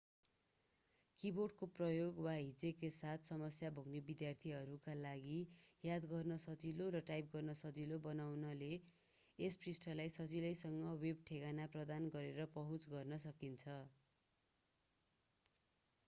किबोर्डको प्रयोग वा हिज्जेका साथ समस्या भोग्ने विद्यार्थीहरूका लागि याद गर्न सजिलो र टाइप गर्न सजिलो बनाउनाले यस पृष्ठलाई सजिलैसँग वेब ठेगाना प्रदान गरेर पहुँच गर्न सकिन्छ